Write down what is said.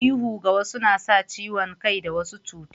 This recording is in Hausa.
Ihu ga wasu na sa ciwon kai da wasu cuta